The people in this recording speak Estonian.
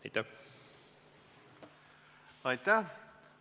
Aitäh!